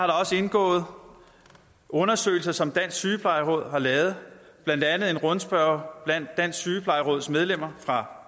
der også indgået undersøgelser som dansk sygeplejeråd har lavet blandt andet en rundspørge blandt dansk sygeplejeråds medlemmer fra